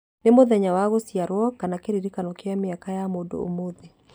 nĩ mũthenya wa gũciarwo kana kĩririkano kĩa mĩaka ya mũndũ ũmũthĩ